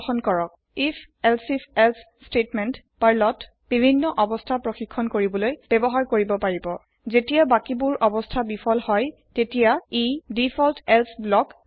if elsif else statement পাৰ্লত ব্যৱহাৰ কৰিব পাৰি বিভিন্ন অৱস্থা চাবলৈ আৰু জেতিয়া বাকি বোৰ অৱস্থা বিফল হই তেতিয়া ই এক্সিকিওত কৰে ডিফল্ট এলছে ব্লক